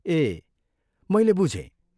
ए, मैलै बुझेँ।